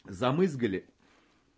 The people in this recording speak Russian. замызгали